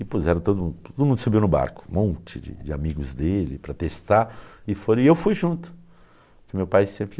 E puseram todo mundo, todo mundo subiu no barco, um monte de de amigos dele para testar, e foram, e eu fui junto, porque meu pai sempre...